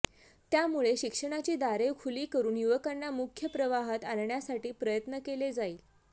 त्यामुळे शिक्षणाची दारे खुली करून युवकांना मुख्य प्रवाहात आणण्यासाठी प्रयत्न केले जाईल